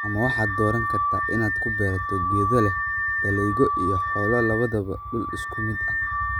Ama waxaad dooran kartaa inaad ku beerato geedo leh dalagyo iyo xoolo labadaba dhul isku mid ah.